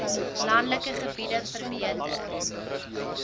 landelike gebiede verbeter